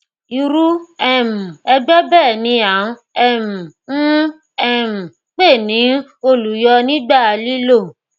irú um ẹgbẹ bẹẹ ni à um ń um pè ní olùyọ nígbà lílò